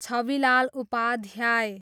Chhabilal Upadhyay